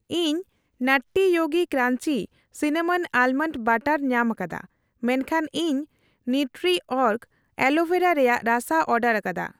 ᱤᱧ ᱱᱟᱴᱴᱤ ᱡᱳᱜᱤ crunchy cinnamon almond butter ᱧᱟᱢᱟᱠᱟᱫᱟ ᱢᱮᱱᱠᱷᱟᱱ ᱤᱧ ᱱᱤᱣᱴᱨᱤᱚᱨᱜ ᱟᱞᱳᱵᱷᱮᱨᱟ ᱨᱮᱭᱟᱜ ᱨᱟᱥᱟ ᱚᱨᱰᱟᱨᱠᱟᱫᱟ ᱾